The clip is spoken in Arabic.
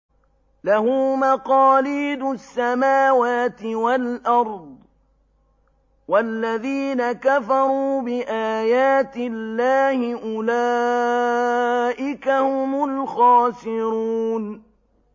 لَّهُ مَقَالِيدُ السَّمَاوَاتِ وَالْأَرْضِ ۗ وَالَّذِينَ كَفَرُوا بِآيَاتِ اللَّهِ أُولَٰئِكَ هُمُ الْخَاسِرُونَ